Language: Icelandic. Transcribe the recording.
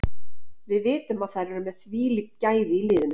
Við vitum að þær eru með þvílík gæði í liðinu.